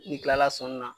N'i kilala sɔnni na